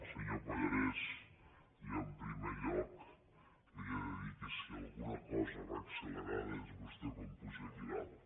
senyor pallarès jo en primer lloc li he de dir que si alguna cosa va accelerada és vostè quan puja aquí dalt